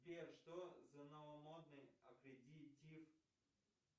сбер что за новомодный аккредитив